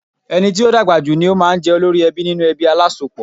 Ẹni tó dàgbà jù ni ó máa ń jẹ́ olórí ẹbí nínú ẹbí alásopọ̀.